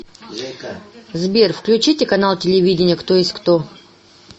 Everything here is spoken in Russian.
сбер включите канал телевидения кто есть кто